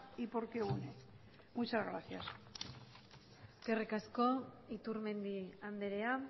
y porque une muchas gracias eskerrik asko iturmendi andrea